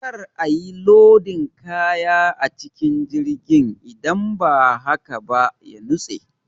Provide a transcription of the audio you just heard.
Kar a yi lodin kaya a cikin jirgin idan ba haka ba ya nutse.